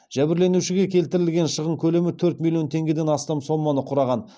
жәбірленушіге келтірілген шығын көлемі төрт миллион теңгеден астам соманы құраған